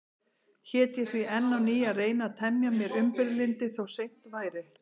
Hét ég því enn á ný að reyna að temja mér umburðarlyndi, þó seint væri.